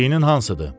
Dinin hansıdır?